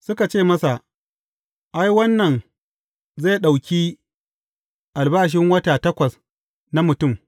Suka ce masa, Ai, wannan zai ɗauki albashin wata takwas na mutum!